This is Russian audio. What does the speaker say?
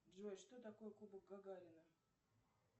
джой что такое кубок гагарина